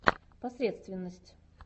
посредственность